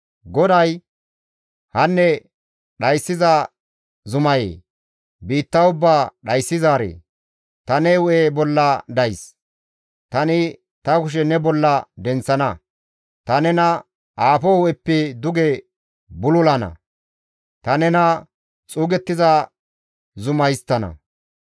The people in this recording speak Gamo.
GODAY, «Hanne dhayssiza zumayee! biitta ubbaa dhayssizaaree! ta ne hu7e bolla days; tani ta kushe ne bolla denththana; ta nena aafo hu7eppe duge bululana; ta nena xuugettida zuma histtana.